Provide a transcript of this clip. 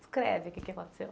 Descreve o que que aconteceu.